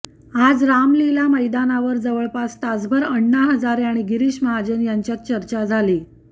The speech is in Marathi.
आज रामलीला मैदानावर जवळपास तासभर अण्णा हजारे आणि गिरीश महाजन यांच्यात चर्चा झाली